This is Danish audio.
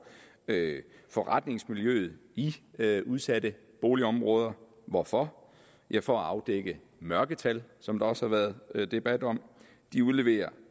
forretningslivet i udsatte boligområder hvorfor ja for at afdække mørketal som der også har været debat om de udleverer